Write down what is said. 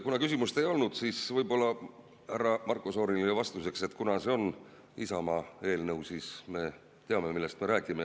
Kuna küsimust ei olnud, siis võib-olla härra Marko Šorinile vastuseks, et kuna see on Isamaa eelnõu, siis me teame, millest me räägime.